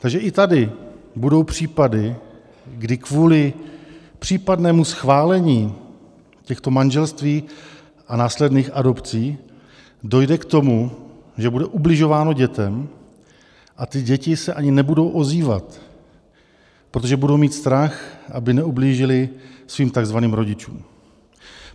Takže i tady budou případy, kdy kvůli případnému schválení těchto manželství a následných adopcí dojde k tomu, že bude ubližováno dětem a ty děti se ani nebudou ozývat, protože budou mít strach, aby neublížily svým takzvaným rodičům.